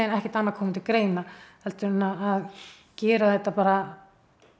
ekkert annað koma til greina heldur en að gera þetta bara